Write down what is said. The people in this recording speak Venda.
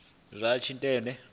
zwa vha na tshitshili tsha